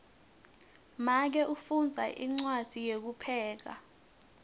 make ufundza incwadzi yekupheka